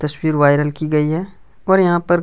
तस्वीर वायरल की गई है और यहाँ पर--